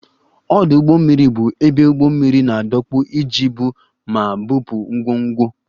Ọdụ ụgbọ mmiri bụ ebe ụgbọ mmiri na-adọkpụ iji ibu ma bupụ ngwongwo